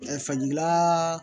Ɛɛ fajirila